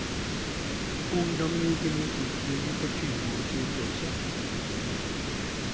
Ungdommen gikk imot utbygging for tyve år siden også.